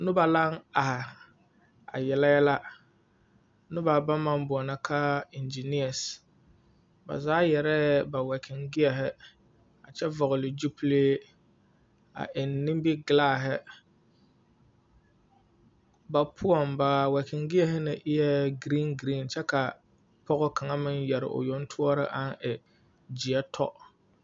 Noba laŋ are a yele yɛlɛ. Noba baŋ maŋ boɔnɔ ka iŋgyneɛs. Ba zaa yarɛɛ ba wɛkiŋ gyeɛhe, a vɔgele gyupile, a eŋ nimbigelaahe. Ba poɔŋ ba wɛgiŋ gyeɛhe ne e giriiŋ giriiŋ kyɛ ka pɔga kaŋa meŋ yare o yoŋ toɔre aŋ e gyeɛ tɔ.